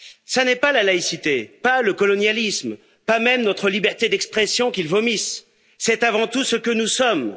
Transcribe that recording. Ce n'est pas la laïcité, pas le colonialisme, pas même notre liberté d'expression qu'ils vomissent c'est avant tout ce que nous sommes.